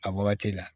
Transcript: A wagati la